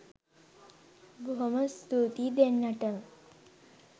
බොහොම ස්තූතියි දෙන්නටම